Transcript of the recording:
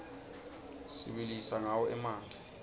sibilisa rqawo emanti